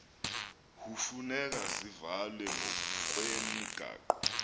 hufuneka zivalwe ngokwemigaqo